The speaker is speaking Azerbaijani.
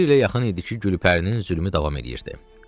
Bir ilə yaxın idi ki, Gülpərinin zülmü davam eləyirdi.